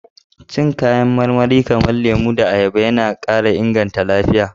Cin kayan marmari kamar lemo da ayaba yana kara inganta lafiya.